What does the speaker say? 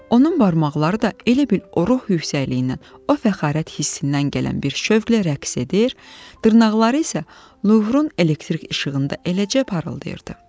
Onun barmaqları da elə bir o ruh yüksəkliyindən, o fəxarət hissindən gələn bir şəvqlə rəqs edir, dırnaqları isə Luhrun elektrik işığında eləcə parıldayırdı.